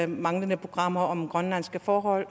manglende programmer om grønlandske forhold